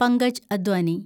Pankaj Advani